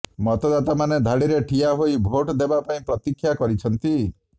ମତଦାତାମାନେ ଧାଡିରେ ଠିଆ ହୋଇ ଭୋଟ୍ ଦେବା ପାଇଁ ପ୍ରତିକ୍ଷା କରିଛନ୍ତି